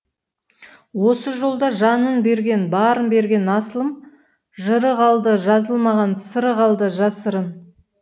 осы жолда жанын берген барын берген асылым жыры қалды жазылмаған сыры қалды жасырын